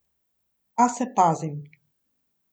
A se pazim.